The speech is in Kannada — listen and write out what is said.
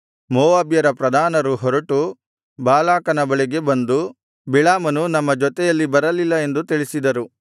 ಮೋವಾಬ್ಯರ ಪ್ರಧಾನರು ಹೊರಟು ಬಾಲಾಕನ ಬಳಿಗೆ ಬಂದು ಬಿಳಾಮನು ನಮ್ಮ ಜೊತೆಯಲ್ಲಿ ಬರಲ್ಲಿಲ ಎಂದು ತಿಳಿಸಿದರು